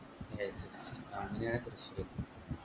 അങ്ങനെയാണ് തൃശൂർ ക്ക് എത്തിയത്